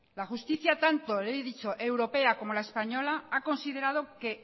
la justicia tanto europea como la española ha considerado que